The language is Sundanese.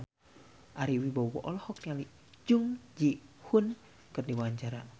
Ari Wibowo olohok ningali Jung Ji Hoon keur diwawancara